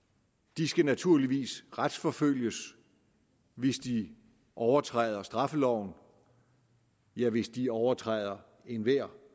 de skal naturligvis retsforfølges hvis de overtræder straffeloven ja hvis de overtræder enhver